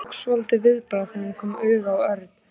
Hún tók svolítið viðbragð þegar hún kom auga á Örn.